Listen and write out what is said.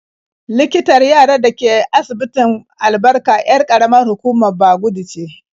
Likitan yarar da ke asibitin Albarka 'yar ƙaramar hukumar Bagudu ce.